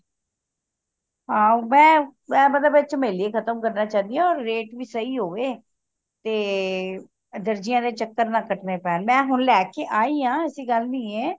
ਆਹੋ ਮੈਂ ਮੈਂ ਮਤਲਬ ਝਮੇਲੇ ਖਤਮ ਕਰਨਾ ਚਾਹੰਦੀ ਆ rate ਵੀ ਸਹੀ ਹੋਵੇ ਤੇ ਦਰਜੀਆਂ ਦੇ ਚੱਕਰ ਨਾ ਕੱਟਣੇ ਪੈਣ ਮੈਂ ਹੁਣ ਲੈਕੇ ਆਇਆ ਐਸੀ ਗੱਲ ਨਹੀਂਏ